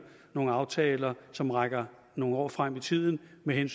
nogle aftaler som rækker nogle år frem i tiden med en